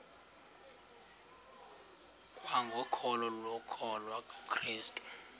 kwangokholo lokukholwa kukrestu